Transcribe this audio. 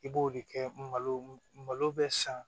I b'o de kɛ malo malo bɛ san